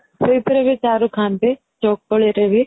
ସେଇଥିରେ ବି ଚାରୁ ଖାଆନ୍ତି .ଚକୁଳିରେ ବି .